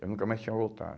Eu nunca mais tinha